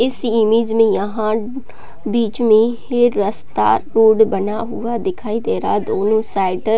इस इमेज में यहाँ बीच में ये रस्ता रोड बना हुआ दिखाई दे रहा दोनों साइड --